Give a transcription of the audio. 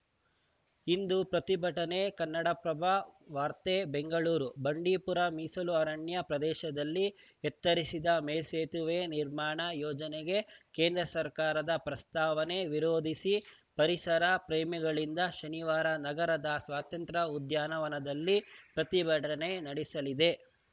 ಇಂದು ಪ್ರತಿಭಟನೆ ಕನ್ನಡಪ್ರಭ ವಾರ್ತೆ ಬೆಂಗಳೂರು ಬಂಡೀಪುರ ಮೀಸಲು ಅರಣ್ಯ ಪ್ರದೇಶದಲ್ಲಿ ಎತ್ತರಿಸಿದ ಮೇಲ್ಸುತುವೆ ನಿರ್ಮಾಣ ಯೋಜನೆಗೆ ಕೇಂದ್ರ ಸರ್ಕಾರದ ಪ್ರಸ್ತಾವನೆ ವಿರೋಧಿಸಿ ಪರಿಸರ ಪ್ರೇಮಿಗಳಿಂದ ಶನಿವಾರ ನಗರದ ಸ್ವಾತಂತ್ರ್ಯ ಉದ್ಯಾನವನದಲ್ಲಿ ಪ್ರತಿಭಟನೆ ನಡೆಸಲಿದೆ